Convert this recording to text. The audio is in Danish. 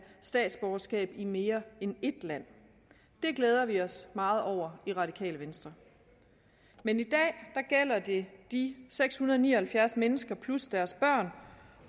statsborgerskab i mere end ét land det glæder vi os meget over i radikale venstre men i dag gælder det de seks hundrede og ni og halvfjerds mennesker plus deres børn